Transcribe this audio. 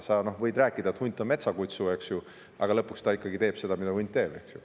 Sa võid ju rääkida, et hunt on metsakutsu, eks ju, aga lõpuks ta teeb ikkagi seda, mida hunt teeb.